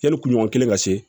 Yanni kunɲɔgɔn kelen ka se